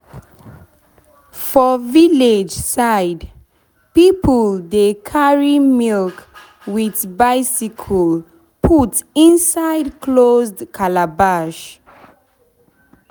for village side people dey carry milk with bicycle with bicycle put inside closed calabash.